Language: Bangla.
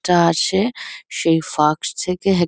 লোকটা আছে সেই ফাঁক থেকে এক --